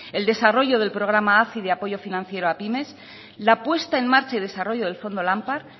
el desarrollo del programa hazi de apoyo financiero a pymes la puesta en marcha y desarrollo del fondo lampar